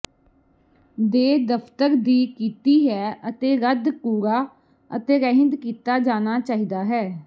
ਦੇ ਦਫ਼ਤਰ ਦੀ ਕੀਤੀ ਹੈ ਅਤੇ ਰੱਦ ਕੂੜਾ ਅਤੇ ਰਹਿੰਦ ਕੀਤਾ ਜਾਣਾ ਚਾਹੀਦਾ ਹੈ